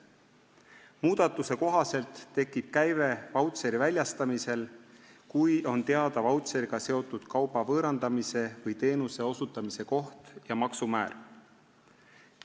Muudatuse kohaselt tekib käive vautšeri väljastamisel, kui on teada vautšeriga seotud kauba võõrandamise või teenuse osutamise koht ja maksumäär.